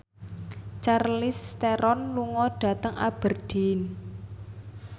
Charlize Theron lunga dhateng Aberdeen